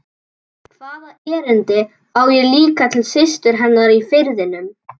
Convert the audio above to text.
Hvaða erindi á ég líka til systur hennar í Firðinum?